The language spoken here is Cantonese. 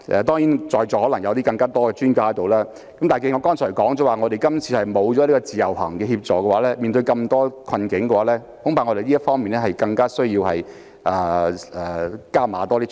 當然，在座可能有更多專家，但我剛才提到今次沒有自由行等措施協助，面對種種困境，我們恐怕要在這方面加大力度處理。